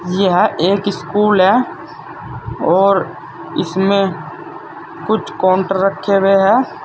यह एक स्कूल है और इसमें कुछ काउंटर रखे हुए हैं।